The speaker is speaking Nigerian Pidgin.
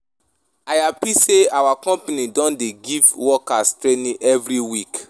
I hapi sey our company don dey give workers training every week.